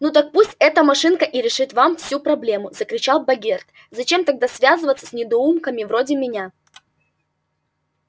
ну так пусть эта машинка и решит вам всю проблему закричал богерт зачем тогда связываться с недоумками вроде меня